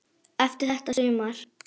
Eftir þetta sumar.